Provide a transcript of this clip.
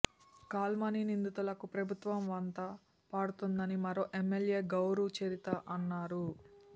call money నిందితులకు ప్రభుత్వం వంత పాడుతోందని మరో ఎమ్మెల్యే గౌరు చరిత అన్నారు